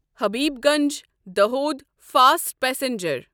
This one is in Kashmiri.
Habibganj Dahod fast passenger